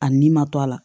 A nin ma to a la